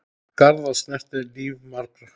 Garðar snerti líf margra.